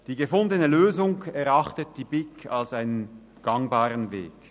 Die gefundene Lösung erachtet die BiK als einen gangbaren Weg.